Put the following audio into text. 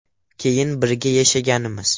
Keyin birga yashaganmiz.